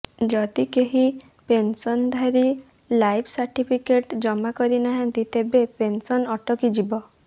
ଯଦି କେହି ପେନସନଧାରୀ ଲାଇଫ୍ ସାର୍ଟିଫିକେଟ ଜମାକରିନାହାଁନ୍ତି ତେବେ ପେନ୍ସନ ଅଟକିଯିବ